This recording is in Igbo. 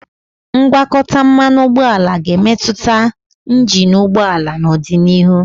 ngwakọta mmanụ ụgbọala ga-emetụta injin ụgbọ ala n'ọdịnihu.